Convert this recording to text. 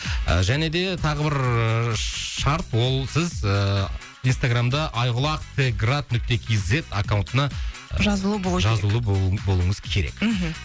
ы және де тағы бір шарт ол сіз ыыы инстаграмда айқұлақ т град нүкте кз аккаунтына жазулы болу жазулы болу болуыңыз керек мхм